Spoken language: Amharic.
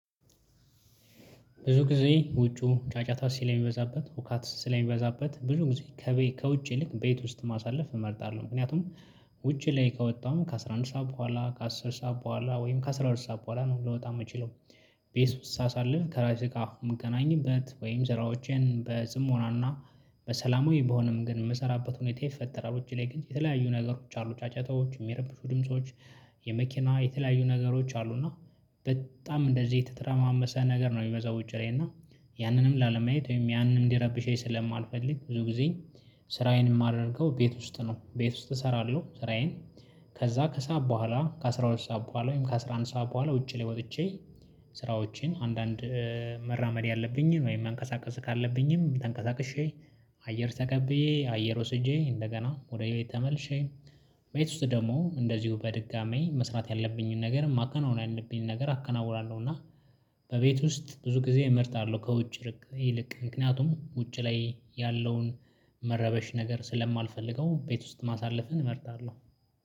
ብዙ ጊዜ ውጩ ጫጫታ ስለሚበዛበት ሁከት ስለሚበዛበት ብዙ ጊዜ ከውጪ ይልቅ ቤት ውስጥ ማሳለፍ እመርጣለሁ። ምክንያቱም ውጪ ላይ ከወጣሁ ከአሥራ አንድ ሰዓት በኋላ ከአስር ሰዓት በኋላ ወይም ከአሥራ ሁለት ሰዓት በኋላ ነው ልወጣ የምችለው። ቤት ውስጥ ሳሳልፍ ከራሴ ጋር የምገናኝበት ወይም ስራዎቼን በጽሞናና በሰላማዊ በሆነ መንገድ የምሰራበት ሁኔታ ይፈጠራል። ውጪ ላይ ግን የተለያዩ ነገሮች አሉ ጫጫታዎች የሚረብሹ ድምጾች የመኪና የተለያዩ ነገሮች አሉ። እና በጣም እንደዚህ የተተረማመሰ ነገር ነው የሚበዛው። ውጪ ላይ እና ያንንም ላለመያየት ወይም ያንን እንዲረብሸኝ ስለማልፈልግ ብዙ ጊዜ ስራዬን የማደርገው ቤት ውስጥ ነው። ቤት ውስጥ እሰራለሁ ስራዬን። ከዛ ከሰአት በኋላ ከአስራ ሁለት ሰዓት በኋላ ወይም ከአስራ አንድ ሰዓት በኋላ ውጪ ላይ ወጥቼ። ስራዎቼን አንዳንድ መራመድ ያለብኝን ወይም መንቀሳቀስ ካለብኝም ተንቀሳቅሼ። አየር ተቀብዬ አየር ወስጄ እንደገና ወደ ቤት ተመልሼ። ቤት ውስጥ ደግሞ እንደዚሁ በድጋሚ መስራት ያለብኝን ነገር ማከናወን ያለብኝን ነገር አከናውናለሁ። እና እቤት ውስጥ ብዙ ጊዜ እመርጣለሁ። ከውጭ ይልቅ ምክንያቱም ውጭ ላይ ያለውን መረበሽ ነገር ስለማልፈልገው ቤት ውስጥ ማሳለፍን እመርጣለሁ።